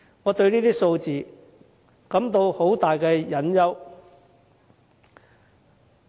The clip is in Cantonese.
我對這些數字感到很大擔憂。